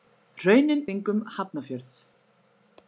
Hraunin kring um Hafnarfjörð.